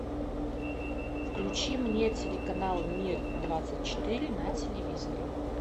включи мне телеканал мир двадцать четыре на телевизоре